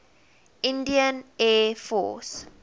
indian air force